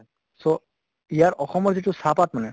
so ইয়াৰ অসমৰ মানে যিটো চাহ্পাত মানে